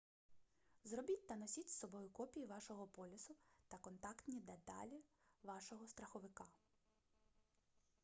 зробіть та носіть з собою копії вашого полісу та контактні деталі вашого страховика